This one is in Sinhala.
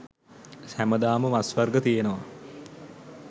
හැමදාම මස් වර්ග තියෙනවා